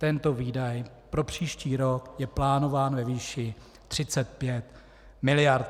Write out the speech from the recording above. Tento výdaj pro příští rok je plánován ve výši 35 mld.